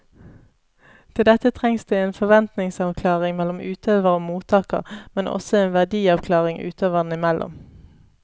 Til dette trengs det en forventningsavklaring mellom utøver og mottaker, men også en verdiavklaring utøverne imellom.